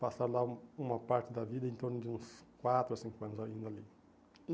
Passaram lá um uma parte da vida, em torno de uns quatro, cinco anos ainda ali.